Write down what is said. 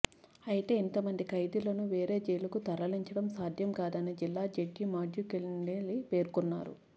అయితే ఇంత మంది ఖైదీలను వేరే జైలుకు తరలించడం సాధ్యం కాదని జిల్లా జడ్జి మాథ్యూ కెన్నెల్లి పేర్కొన్నారు